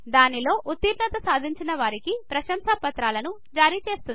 దానిలో ఉత్తీర్ణత సాధించిన వారికి ప్రశంసాపత్రాలను జరిచేస్తుంది